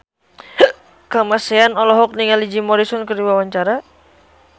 Kamasean olohok ningali Jim Morrison keur diwawancara